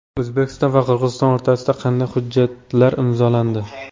O‘zbekiston va Qirg‘iziston o‘rtasida qanday hujjatlar imzolandi?.